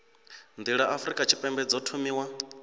nḓila afurika tshipembe dzo thomiwa